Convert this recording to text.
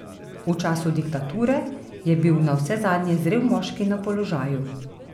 V času diktature je bil navsezadnje zrel moški na položaju.